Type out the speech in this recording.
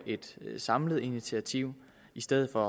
et samlet initiativ i stedet for